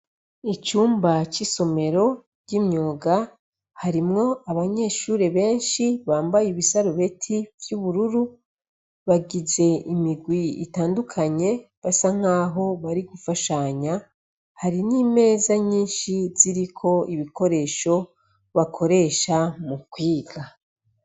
Icumba c'isomero ry'imyoga harimwo abanyeshuri benshi bambaye ibisarubeti vy'ubururu bagize imigwi itandukanye basa nk'aho bari gufashanya hari n'imeza nyinshi ziriko ibikoresho bakoresha mukwe iga.